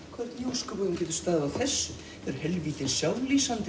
ósköpunum getur staðið á þessu eru helvítin sjálflýsandi